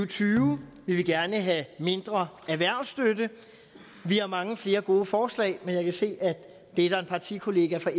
tyve vi vil gerne have mindre erhvervsstøtte vi har mange flere gode forslag men jeg kan se at det er der en partikollega fra